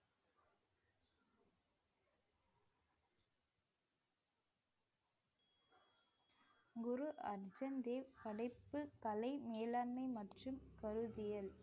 குரு அர்ஜன் தேவ் தலைப்பு கலை மேலாண்மை மற்றும் கருத்தியல்